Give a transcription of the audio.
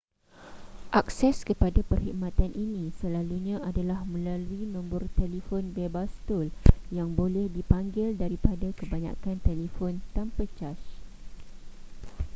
akses kepada perkhidmatan ini slelalunya adalah melalui nombor telefon bebas tol yang boleh dipanggil daripada kebanyakan telefon tanpa caj